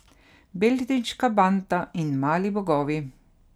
Beltinška banda in Mali bogovi.